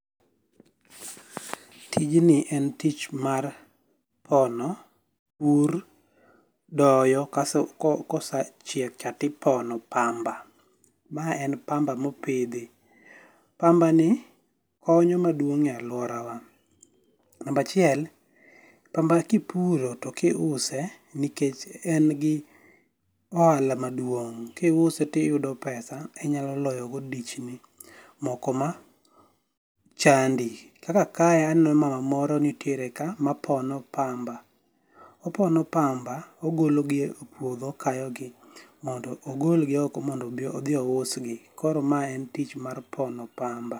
Tijni en tich mar pono pur doyo kosechiek cha to ipono pamba. Mae en pamba mopidhi, pambani konyo maduong' e aluorawa. Namba achiel, pamba kipuro to kiuse nikech en gi ohala maduong'. Ka iuse to iyudo pesa inyao loyogo dichni moko machandi. Kaka aneno mama moro mapono pamba. Opono pamba ogologi epuodho, okayogi mondo odhi ousgi. Koro mae en tich mar pono pamba.